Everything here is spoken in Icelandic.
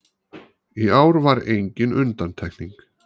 Í ár var engin undantekning